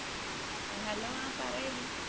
hello ആ പറയടി.